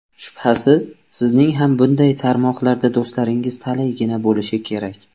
Shubhasiz, sizning ham bunday tarmoqlarda do‘stlaringiz talaygina bo‘lishi kerak.